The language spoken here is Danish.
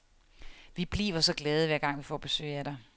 Vi bliver så glade, hver gang vi får besøg af dig.